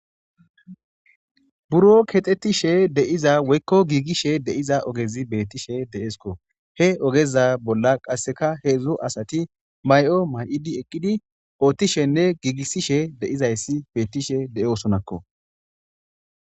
Buro kexetishe deiza woykko giigishe deiza ogezi beettishe de7esko he ogeza bolla qasseka heedzdzu asati may'o may'idi eqqidi oottishenne giigissishe deizayssi beettishe deyosonakko.